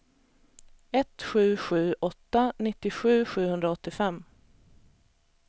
ett sju sju åtta nittiosju sjuhundraåttiofem